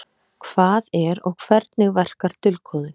Hvað er og hvernig verkar dulkóðun?